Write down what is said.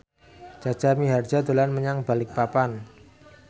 Jaja Mihardja dolan menyang Balikpapan